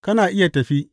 Kana iya tafi.